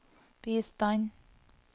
bistand